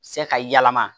Se ka yɛlɛma